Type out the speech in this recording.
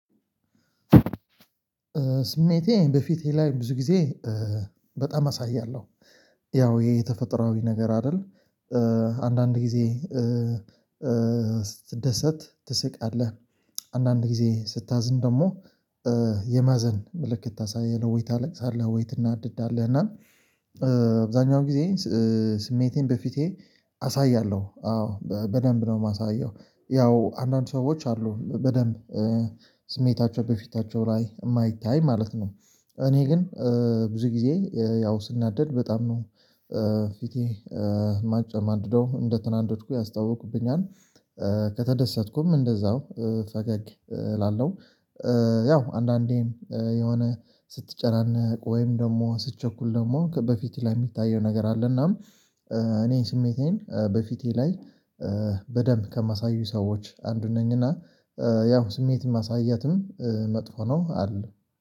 ስሜቴን በፊቴ ላይ ብዙ ጊዜ በጣም አሳያለው ያው ህሄ የተፈጥሯዊ ነገር አደል። አንዳንድ ጊዜ። ስትደሰት ትስቃለህ አንዳንድ ጊዜ ስታዝን ደሞ የማዘን ምልክት ታሳያለህ ወይ ታለቅሳለህ ወይ ትናደዳለህ እና። አብዛኛው ጊዜ ስሜቴን በፊቴ አሳያለው አዎ በደንብ ነው ማሳየው። ያው አንዳንድ ሰዎች አሉ በደንብ ስሜታቸው በፊታቸው ላይ እማይታይ ማለት ነው። እኔ ግን ብዙ ጊዜ ያው ስናደድ በጣም ነው ፊቴ ማጨማድደው እንደተናደድኩ ያስታውቅብኛል። ከተደሰትኩም እንደዛው ፈገግ እላለው። ያው አንዳንዴም የሆነ ስትጨናነቅ ወይም ደሞ ስትቸኩል ደሞ ከ በፊትህ ላይ ሚታየው ነገር አለ። እናም እኔ ስሜቴን በፊቴ ላይ በደንብ ከማሳዩ ሰዎች አንዱ ነኝና። ያው ስሜትን ማሳየትም መጥፎ ነው አልልም